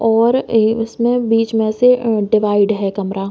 और इ इसमें बीच में से ए डिवाइड है कमरा --